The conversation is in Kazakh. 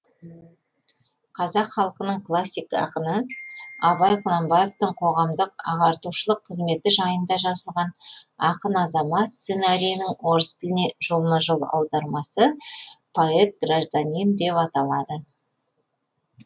қазақ халқының классик ақыны абай құнанбаевтың қоғамдық ағартушылық қызметі жайында жазылған ақын азамат сценарийінің орыс тіліне жолма жол аудармасы поэт гражданин деп аталады